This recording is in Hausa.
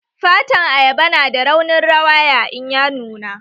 Fatan ayaba nada raunin rawaya in ya nuna